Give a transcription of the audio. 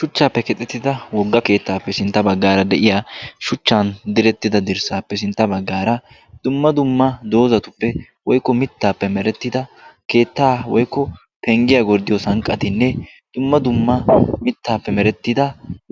shuchcappe keexxitada wogaa keetta bgarssa baggaara de'iyaa shuchchan direttida dirssappe sintta baggaara dumma dumma doozatuppe woykko mittappe merettida keettaa woykko penddiya gorddiyo sanqqatinne dumma dumma